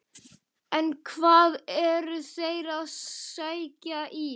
En hvað eru þeir að sækja í?